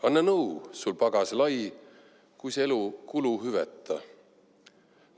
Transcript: Anna nõu, sul pagas lai, kuis elu kuluhüveta.